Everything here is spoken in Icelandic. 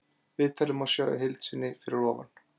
Viðtalið má sjá í heild sinni fyrir ofan.